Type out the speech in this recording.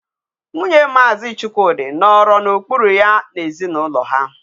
Nwunye Maazi Chukwudi nọrọ n'okpuru ya n'ezinụlọ ha.